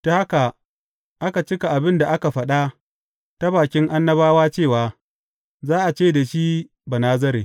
Ta haka aka cika abin da aka faɗa ta bakin annabawa cewa, Za a ce da shi Banazare.